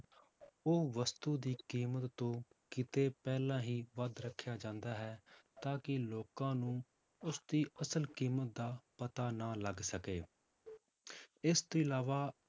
ਉਹ ਵਸਤੂ ਦੀ ਕੀਮਤ ਤੋਂ ਕਿਤੇ ਪਹਿਲਾਂ ਹੀ ਵੱਧ ਰੱਖਿਆ ਜਾਂਦਾ ਹੈ ਤਾਂ ਕਿ ਲੋਕਾਂ ਨੂੰ ਉਸਦੀ ਅਸਲ ਕੀਮਤ ਦਾ ਪਤਾ ਨਾ ਲੱਗ ਸਕੇ ਇਸ ਤੋਂ ਇਲਾਵਾ